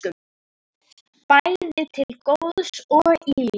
Bæði til góðs og ills.